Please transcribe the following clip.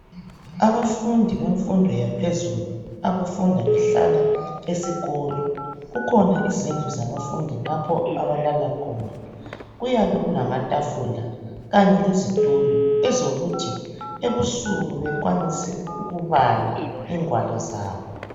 Abafundi bemfundo yaphezulu abafunda behlala esikolo kukhona zindlu zabafundi lapho abalala khona. Kuyabe kulama tafula kanye lezitulo ezenzukuthi ebusuku bekwanise ukubala ingwalo zabo.